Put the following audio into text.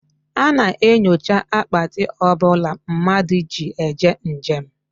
A na-enyocha Akpati ọbụla mmadụ ji eje njem